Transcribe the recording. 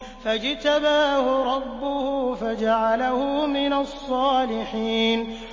فَاجْتَبَاهُ رَبُّهُ فَجَعَلَهُ مِنَ الصَّالِحِينَ